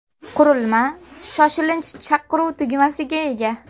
Qurilma shoshilinch chaqiruv tugmasiga ega.